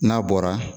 N'a bɔra